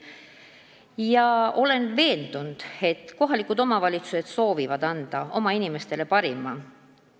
Ma olen veendunud, et kohalikud omavalitsused soovivad võimaldada oma inimestele parimat.